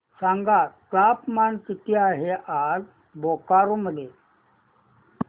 सांगा तापमान किती आहे आज बोकारो मध्ये